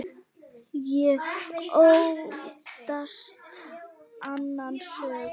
Ég óttast annan söng.